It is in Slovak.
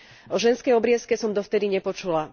O ženskej obriezke som dovtedy nepočula.